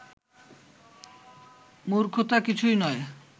মূর্খতা কিছুই নয়